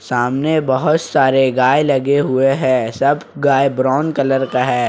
सामने बहोत सारे गाय लगे हुए हैं सब गाय ब्राउन कलर का है।